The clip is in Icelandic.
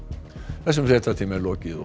þessum fréttatíma er lokið